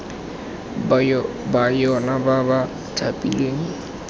ba yona ba ba thapilweng